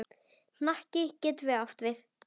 Hnakki getur átt við